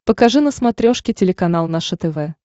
покажи на смотрешке телеканал наше тв